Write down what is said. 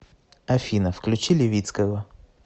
афина включи левицкого